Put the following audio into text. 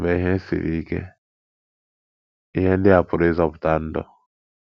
Mgbe ihe siri ike, ihe ndị a pụrụ ịzọpụta ndụ.